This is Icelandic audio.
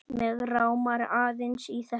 Mig rámar aðeins í þetta.